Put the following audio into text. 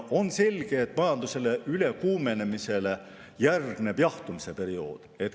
On selge, et majanduse ülekuumenemisele järgneb jahtumise periood.